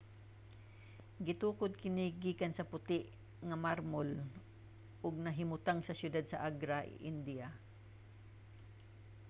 gitukod kini gikan sa puti nga marmol ug nahimutang sa syudad sa agra india